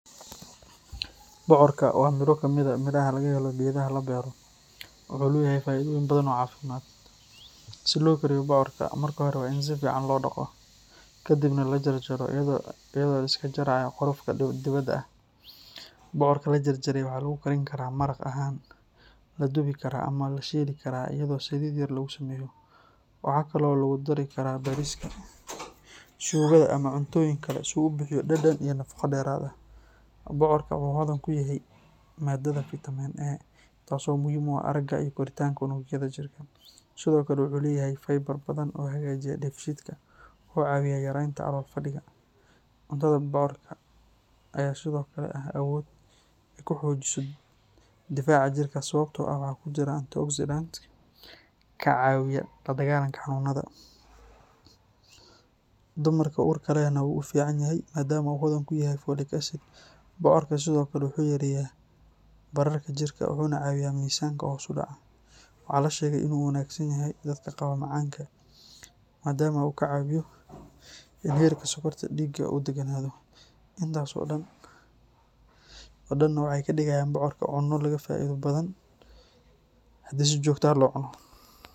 Bocorka waa midho ka mid ah miraha laga helo geedaha la beero, wuxuuna leeyahay faa’iidooyin badan oo caafimaad. Si loo kariyo bocorka, marka hore waa in si fiican loo dhaqo, kadibna la jarjaro iyadoo la iska jarayo qolfoofka dibadda ah. Bocorka la jarjaray waxaa lagu karin karaa maraq ahaan, la dubi karaa ama la shiili karaa iyadoo saliid yar lagu sameeyo. Waxa kale oo lagu dari karaa bariiska, suugada ama cuntooyinka kale si uu u bixiyo dhadhan iyo nafaqo dheeraad ah. Bocorka wuxuu hodan ku yahay maadada fiitamiin A, taasoo muhiim u ah aragga iyo koritaanka unugyada jirka. Sidoo kale, wuxuu leeyahay faybar badan oo hagaajiya dheefshiidka, wuxuuna caawiyaa yareynta calool-fadhiga. Cuntada bocorka ayaa sidoo kale leh awood ay ku xoojiso difaaca jirka sababtoo ah waxaa ku jira antioxidants kaa caawiya la dagaalanka xanuunnada. Dumarka uurka lehna wuxuu u fiican yahay maadaama uu hodan ku yahay folic acid. Bocorka sidoo kale wuxuu yareeyaa bararka jirka wuxuuna caawiyaa miisaanka oo hoos u dhaca. Waxaa la sheegay inuu u wanaagsan yahay dadka qaba macaanka maadaama uu ka caawiyo in heerka sokorta dhiigga uu degganaado. Intaas oo dhanna waxay ka dhigayaan bocorka cunno laga faa’iido badan karo haddii si joogto ah loo cuno.